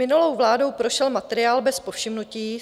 Minulou vládou prošel materiál bez povšimnutí.